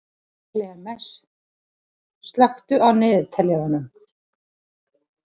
Klemens, slökktu á niðurteljaranum.